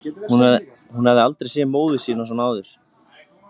Hún hafði aldrei séð móður sína svona áður.